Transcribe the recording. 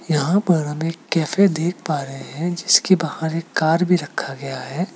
यहां पर हम एक कैफे देख पा रहे हैं जिसके बाहर एक कार भी रखा गया है।